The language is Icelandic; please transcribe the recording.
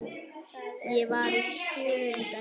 Ég var í sjöunda himni.